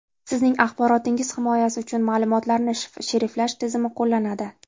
Sizning axborotingiz himoyasi uchun ma’lumotlarni shifrlash tizimi qo‘llanadi.